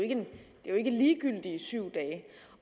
jo ikke ligegyldige syv dage